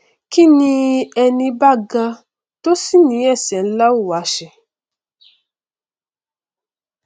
kí ni ẹní bá ga tó sì ní ẹsẹ nlá ó wa ṣe